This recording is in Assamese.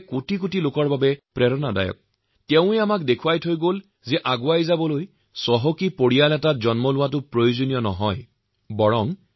আটাইতকৈ গুৰুত্বপূৰ্ণ কথাটো হল দেশৰ পিছপৰা সম্প্ৰদায়ভুক্ত আমাৰ দৰে অসংখ্য লোকৰ বাবে ড০ আম্বেদকাৰ এক প্ৰেৰণা